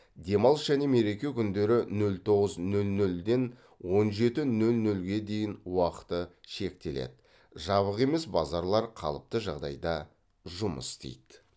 демалыс және мереке күндері нөл тоғыз нөл нөлден он жеті нөл нөлге дейін уақыты шектеледі жабық емес базарлар қалыпты жағдайда жұмыс істейді